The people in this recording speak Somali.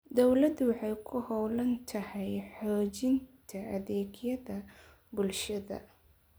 Dawladdu waxay ku hawlan tahay xoojinta adeegyada bulshada.